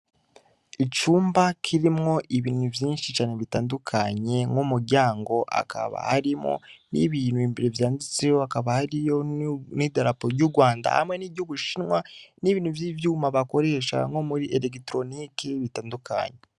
Icumba kirimwo ibintu vyinshi cane bitandukanye n’umuryango akaba harimwo n'ibintu imbere vyanditseho akaba hariyo n'idalapo y'urwanda hamwe n'iryubushinwa n'ibintu vy'ivyuma bakoresha nko muri elektroniki bitandukanye.